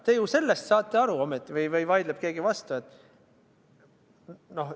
Te ju sellest saate aru ometi – või vaidleb keegi vastu?